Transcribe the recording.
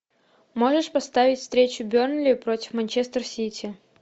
можешь поставить встречу бернли против манчестер сити